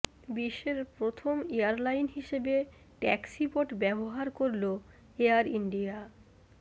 বিশ্বের প্রথম এয়ারলাইন হিসেবে ট্যাক্সিবট ব্যবহার করলো এয়ার ইন্ডিয়া